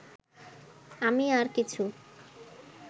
আমি আর কিছু